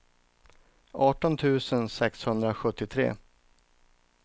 arton tusen sexhundrasjuttiotre